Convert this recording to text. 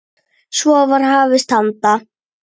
Svo var hafist handa.